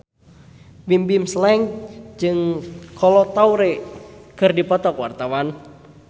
Bimbim Slank jeung Kolo Taure keur dipoto ku wartawan